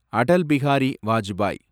Atal Bihari Vajpayee